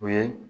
O ye